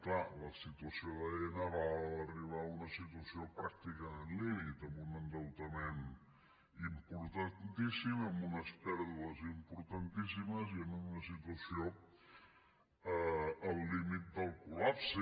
clar la situació d’aena va arribar a una situació pràcticament límit amb un endeutament importantíssim amb unes pèrdues importantíssimes i en una situació al límit del col·lapse